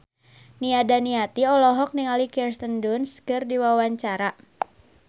Nia Daniati olohok ningali Kirsten Dunst keur diwawancara